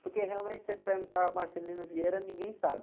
Porque, realmente, se você perguntar Marcelino Vieira, ninguém sabe.